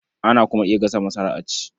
Ana kuma iya gasa masara a ci.